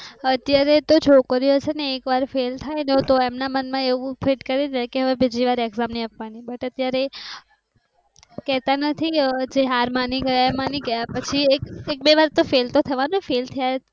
અત્યારે તો છોકરીઓ છે ને એક વાર ફેલ થાય તો તો એમ ના મન માં એવું ફિટ કરી છે કે હવે બીજીવાર એક્જામ નથી આપવાની but અત્યારે કેતા નથી હવે જે હાર માની ગયાં માની ગયા પછી એક બે વાર તો ફેલ થવા નું ફેલ થાય.